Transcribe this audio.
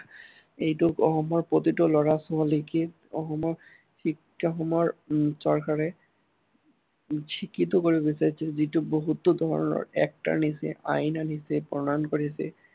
এইটো অসমৰ প্ৰতিটো ল'ৰা-ছোৱালীকে অসমৰ শিক্ষাসমূহৰ উম চৰকাৰে, শিক্ষিত কৰি গৈছে, যিহেতু বহুতো ধৰনৰ act আনিছে, আইন আনিছে, প্ৰণয়ন কৰিছে